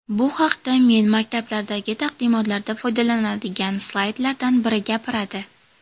Bu haqda men maktablardagi taqdimotlarda foydalanadigan slaydlardan biri gapiradi.